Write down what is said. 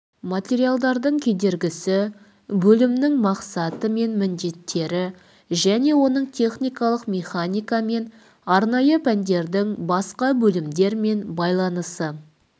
материалдардың кедергісі бөлімінің мақсаты мен міндеттері және оның техникалық механика мен арнайы пәндердің басқа бөлімдерімен байланысы